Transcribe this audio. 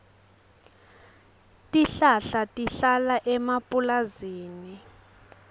tihlala tihlala emapulazini